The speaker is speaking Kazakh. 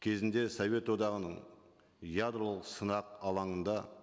кезінде совет одағының ядролық сынақ алаңында